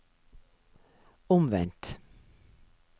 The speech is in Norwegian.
omvendt